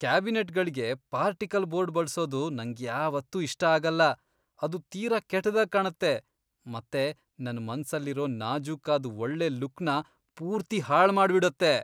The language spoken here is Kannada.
ಕ್ಯಾಬಿನೆಟ್ಗಳಿಗೆ ಪಾರ್ಟಿಕಲ್ ಬೋರ್ಡ್ ಬಳ್ಸೋದು ನಂಗ್ಯಾವತ್ತೂ ಇಷ್ಟ ಆಗಲ್ಲ. ಅದು ತೀರಾ ಕೆಟ್ದಾಗ್ ಕಾಣತ್ತೆ ಮತ್ತೆ ನನ್ ಮನ್ಸಲ್ಲಿರೋ ನಾಜೂಕಾದ್ ಒಳ್ಳೆ ಲುಕ್ನ ಪೂರ್ತಿ ಹಾಳ್ ಮಾಡ್ಬಿಡತ್ತೆ.